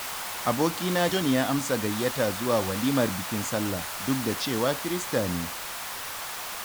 Abokina John ya amsa gayyatata zuwa walimar bikin sallah, duk da cewa kirista ne.